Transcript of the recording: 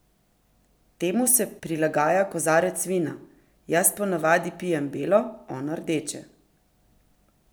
Temu se prilagaja kozarec vina: "Jaz ponavadi pijem belo, on rdeče.